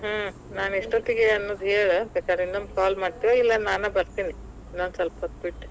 ಹ್ಮ್, ನಾ ಎಷ್ಟೋತಿಗೆ ಅನ್ನೋದ್ ಹೇಳ ಬೇಕಾರ, ಇನ್ನೊಮ್ಮೆ call ಮಾಡ್ತೀಯೊ ಇಲ್ಲಾ ನಾನ ಬತ್ರೇನಿ ಇನ್ನೊಂದ್ ಸ್ವಲ್ಪ ಹೊತ್ ಬಿಟ್.